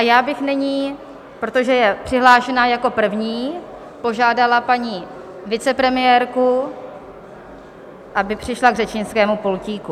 A já bych nyní, protože je přihlášená jako první, požádala paní vicepremiérku, aby přišla k řečnickému pultíku.